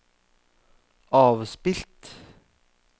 avspilt